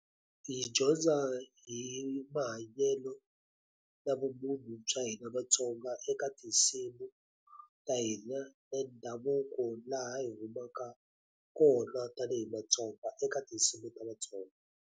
Hi dyondza hi mahanyelo na vumunhu bya hina vaTsonga eka tinsimu ta hina ta ndhavuko, laha hi humaka kona tanihi maTsonga eka tinsimu ta vaTsonga.